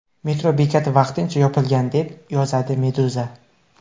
Metro bekati vaqtincha yopilgan, deb yozadi Meduza.